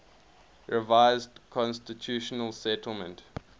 revised constitutional settlement